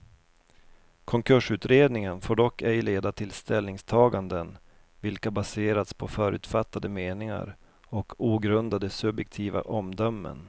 Konkursutredningen får dock ej leda till ställningstaganden, vilka baserats på förutfattade meningar och ogrundade subjektiva omdömen.